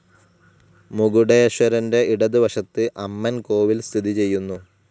മകുടേശ്വരന്റെ ഇടത് വശത്ത് അമ്മൻ കോവിൽ സ്ഥിതിചെയ്യുന്നു.